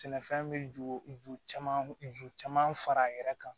Sɛnɛfɛn bɛ ju ju caman ju caman fara a yɛrɛ kan